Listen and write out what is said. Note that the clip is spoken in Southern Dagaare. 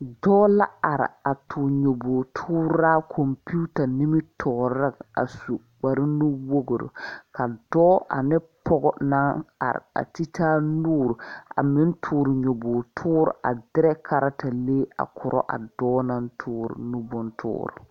Dɔɔ la are a toore nyoboge tooraa kɔmpiuta nimitooreŋ a su kpare nuwogre ka dɔɔ ane pɔɔ naŋ are a te taa nuure a meŋ toore nyoboge toore a kyɛ derɛ kareta lee a korɔ a dɔɔ naŋ toore nu bontoore.